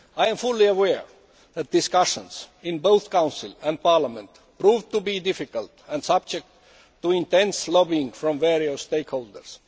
I am fully aware that discussions in both Council and Parliament proved to be difficult and subject to intense lobbying from various stakeholders.